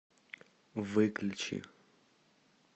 выключи